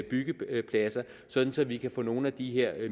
byggepladser så vi kan få nogle af de her